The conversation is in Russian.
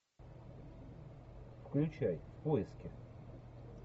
включай поиски